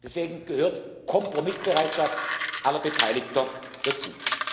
Deswegen gehört die Kompromissbereitschaft aller Beteiligter